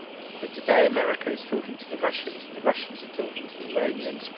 But today America is talking to the Russians and the Russians are talking to the Iranians.